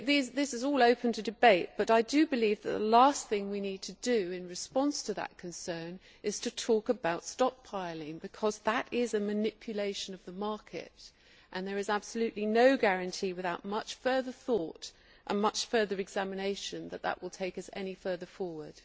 This is all open to debate, but I believe that the last thing we need to do in response to that concern is to talk about stockpiling, because that is a manipulation of the market, and there is absolutely no guarantee without much further thought and much further examination that this will take us any further forward